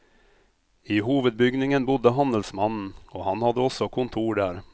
I hovedbygningen bodde handelsmannen, og han hadde også kontor der.